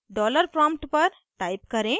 dollar prompt पर type करें